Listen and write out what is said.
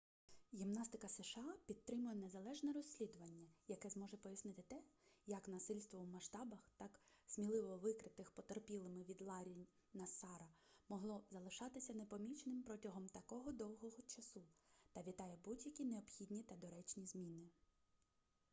гімнастика сша підтримує незалежне розслідування яке зможе пояснити те як насильство у масштабах так сміливо викритих потерпілими від ларрі нассара могло залишатися непоміченим протягом такого довгого часу та вітає будь-які необхідні та доречні зміни